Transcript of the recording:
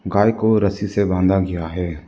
गाय को रस्सी से बांधा गया है।